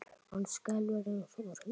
Hann skelfur eins og hrísla.